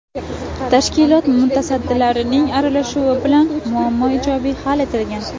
Tashkilot mutasaddilarining aralashuvi bilan muammo ijobiy hal etilgan.